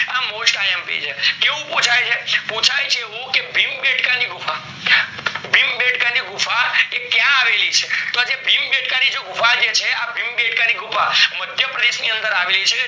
આ mostIMP છે કેવું પુછાય છે, પુછાય છે એવું ક ભીમ બેડકા ભીમ બેડકા ની ગુફા એ ક્યાં આવેલી છે તો આ ભીમ બેડકા ની ગુફા જે છે મધ્ય પ્રદેશ ની અંદર આવેલી છે